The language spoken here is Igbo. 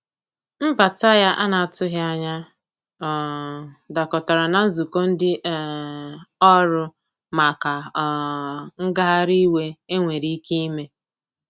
Mbata ya ana atụghi anya um dakọtara na nzụkọ ndi um ọrụ maka um ngahari iwe enwere ike ime.